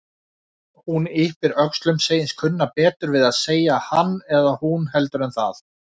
Hún yppir öxlum, segist kunna betur við að segja hann eða hún heldur en það.